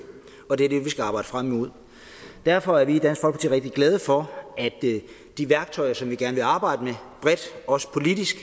og det er det vi skal arbejde frem imod derfor er vi i dansk folkeparti rigtig glade for at de værktøjer som vi gerne vil arbejde med bredt også politisk